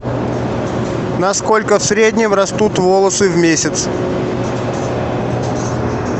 на сколько в среднем растут волосы в месяц